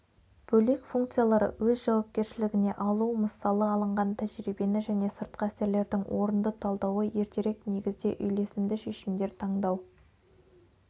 бөлек функциялары өз жауапкершілігіне алу мысалы алынған тәжірибені және сыртқы әсерлердің орынды талдауы ертерек негізде үйлесімді шешімдер таңдау